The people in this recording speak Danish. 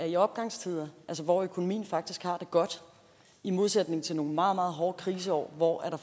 en opgangstid hvor økonomien faktisk har det godt i modsætning til nogle meget meget hårde kriseår hvor